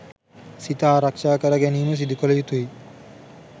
සිත ආරක්ෂා කරගැනීම සිදුකළ යුතුයි.